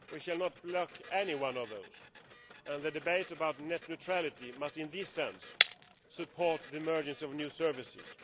We should not lack any of those, and the debate about net neutrality must in this sense support the emergence of new services.